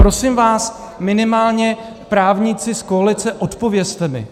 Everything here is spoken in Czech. Prosím vás, minimálně právníci z koalice, odpovězte mi.